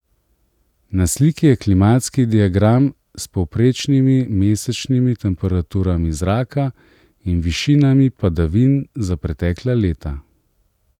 Na sliki je klimatski diagram s povprečnimi mesečnimi temperaturami zraka in višinami padavin za pretekla leta.